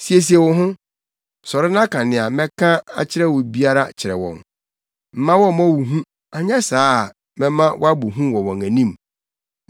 “Siesie wo ho! Sɔre na ka nea mɛka akyerɛ wo biara kyerɛ wɔn. Mma wɔmmmɔ wo hu, anyɛ saa a mɛma woabɔ hu wɔ wɔn anim.